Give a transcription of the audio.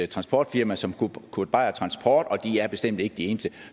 transportfirma som kurt beier transport og de er bestemt ikke de eneste